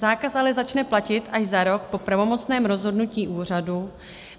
Zákaz ale začne platit až za rok po pravomocném rozhodnutí úřadu.